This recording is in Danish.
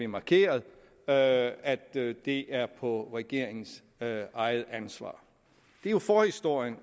markeret at at det er på regeringens eget ansvar det er forhistorien